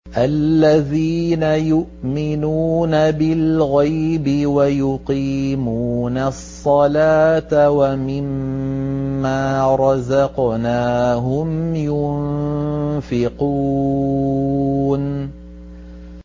الَّذِينَ يُؤْمِنُونَ بِالْغَيْبِ وَيُقِيمُونَ الصَّلَاةَ وَمِمَّا رَزَقْنَاهُمْ يُنفِقُونَ